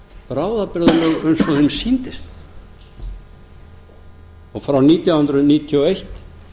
bráðabirgðalög eins og því sýndist frá nítján hundruð níutíu og eitt